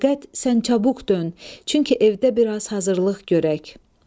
Fəqət sən çabuk dön, çünki evdə biraz hazırlıq görək.